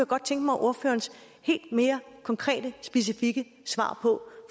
godt tænke mig ordførerens konkrete og specifikke svar på